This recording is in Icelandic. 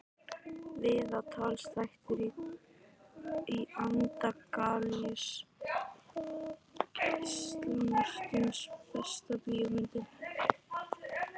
Viðtalsþættir í anda Gísla Marteins Besta bíómyndin?